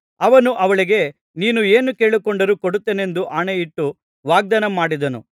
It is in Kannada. ಅವನು ಅವಳಿಗೆ ನೀನು ಏನು ಕೇಳಿಕೊಂಡರೂ ಕೊಡುತ್ತೇನೆಂದು ಆಣೆಯಿಟ್ಟು ವಾಗ್ದಾನ ಮಾಡಿದನು